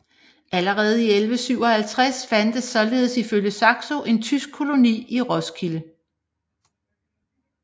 Allerede i 1157 fandtes således ifølge Saxo en tysk koloni i Roskilde